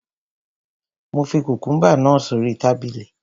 Mo fi kùkùúmbà náà sórí tábìlì